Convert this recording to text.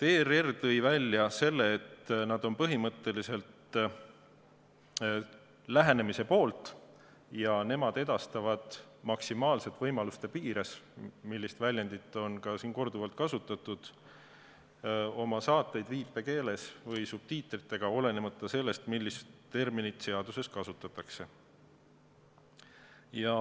ERR tõi välja, et nad on põhimõtteliselt lähenemise poolt ja nad edastavad maksimaalselt võimaluste piires – seda väljendit on ka siin korduvalt kasutatud – oma saateid viipekeeles või subtiitritega, olenemata sellest, millist terminit seaduses kasutatakse.